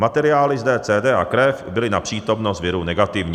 Materiály z DCD a krev byly na přítomnost viru negativní."